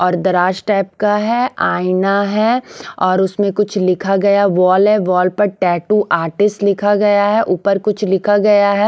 और दराज टाइप का है आईना है और उसमें कुछ लिखा गया वॉल है वॉल पर टैटू आर्टिस्ट लिखा गया है ऊपर कुछ लिखा गया है।